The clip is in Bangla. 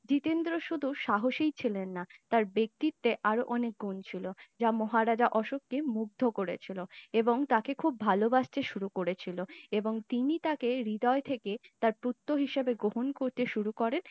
জিতেন্দ্র শুধু সাহসী ছিলেন না তার ব্যক্তিত্বে আরো অনেকগুণ ছিল যা মহারাজা অশোকের মুগ্ধ করেছিল এবং তাকে খুব ভালোবাসতে শুরু করেছিল এবং তিনি তাকে হৃদয় থেকে তার পুত্র হিসেবে গ্রহণ করতে শুরু করেন